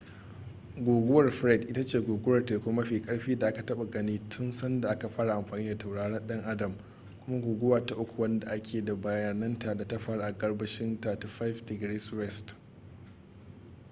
guguwar fred ita ce guguwar teku mafi karfi da aka taba gani tun sanda aka fara amfani da tauraron dan adam kuma guguwa ta uku wadda ake da bayananta da ta faru a gabashin 35°w